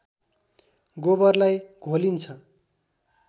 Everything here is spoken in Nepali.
गोबरलाई घोलिन्छ